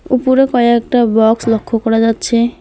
উপরে কয়েকটা বক্স লক্ষ করা যাচ্ছে।